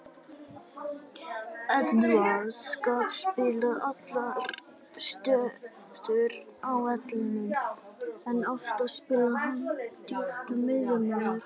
Edwards gat spilað allar stöður á vellinum en oftast spilaði hann sem djúpur miðjumaður.